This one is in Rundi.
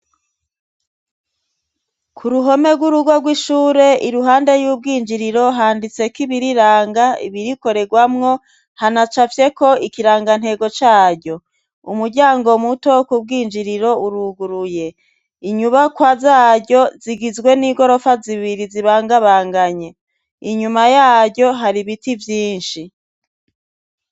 ku ruhome rw'urugo rw'ishure iruhande y'ubwinjiriro handitseko ibibiranga ibirikoregwamwo hanacafyeko ikirangantego caryo umuryango muto kubwinjiriro uruguruye inyubakwa zaryo zigizwe n'igorofa zibiri zibangabanganye inyuma yaryo hari biti vyinshi